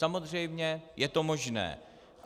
Samozřejmě je to možné.